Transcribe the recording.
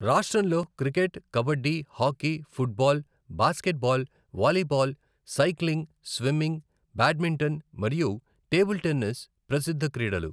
రాష్ట్రంలో cricket, kabaddi, hockey, football, basketball, volleyball, cycling, swimming, badminton మరియు table tennis ప్రసిద్ధ క్రీడలు.